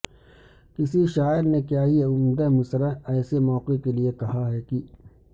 کسی شاعر نے کیا ہی عمدہ مصرعہ ایسے موقع کے لئے کہا ہے کہ